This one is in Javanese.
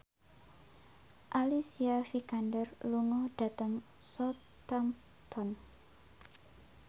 Alicia Vikander lunga dhateng Southampton